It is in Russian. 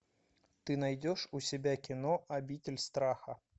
ты найдешь у себя кино обитель страха